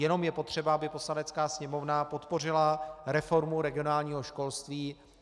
Jenom je potřeba, aby Poslanecká sněmovna podpořila reformu regionálního školství.